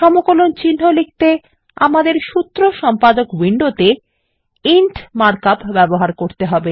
সমকলন চিন্হ লিখতে আমাদের সূত্র সম্পাদক উইন্ডোতে ইন্ট মার্ক আপ ব্যবহার করতে হবে